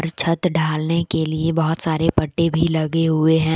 छत ढालने के लिए बहोत सारे पट्टे भी लगे हुए है।